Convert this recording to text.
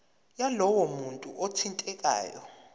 yalowo muntu othintekayo